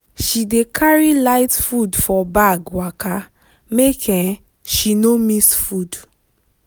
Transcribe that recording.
she dey carry light food for bag waka make um she no miss food.